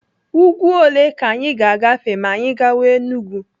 Úgwú ole ka anyị ga-agafe ma anyị gawa Enugu?